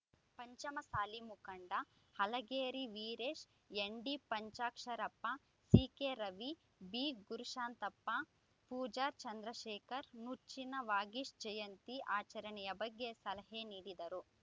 ಪಂಚಮಸಾಲಿ ಮುಖಂಡ Halageri Veeresh ND Panchaksharappa C K Ravi ಬಿಗುರುಶಾಂತಪ್ಪ Pujar Chandrashekhar Nuchchina Vagish ಜಯಂತಿ ಆಚರಣೆಯ ಬಗ್ಗೆ ಸಲಹೆ ನೀಡಿದರು